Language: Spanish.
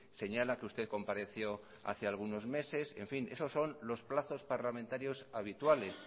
señala que usted compareció hace algunos meses en fin esos son los plazos parlamentarios habituales